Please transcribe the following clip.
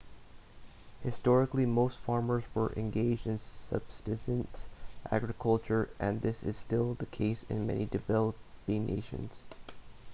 historically most farmers were engaged in subsistence agriculture and this is still the case in many developing nations